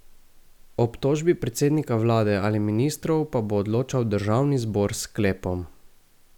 O obtožbi predsednika vlade ali ministrov pa bo odločal državni zbor s sklepom.